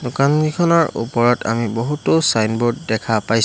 দোকানকিখনৰ ওপৰত আমি বহুতো ছাইনব'ৰ্ড দেখা পাই--